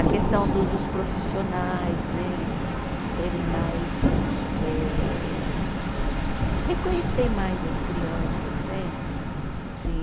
A questão do dos profissionais né, serem mais eh, reconhecer mais as crianças né, assim.